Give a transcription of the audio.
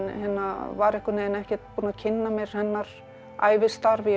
var ekkert búin að kynna mér hennar ævistarf ég vissi